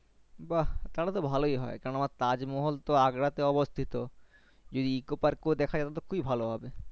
বাহ তাহলে তো ভালোই হয় কেন না তাজমহল তো Agra তে অবস্থিত যদি ecopark এ দেখা যাবে তাহলে তো খুবই ভালো হবে